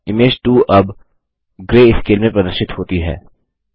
image 2 अब greyscale में प्रदर्शित होती है